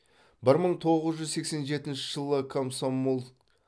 бір мың тоғыз жүз сексен жетінші жылы комсомол